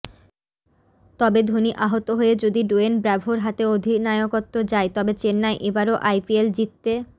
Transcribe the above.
তবে ধোনি আহত হয়ে যদি ডোয়েন ব্র্যাভোর হাতে অধিনায়কত্ব যায় তাহলে চেন্নাই এবারও আইপিএল জিততে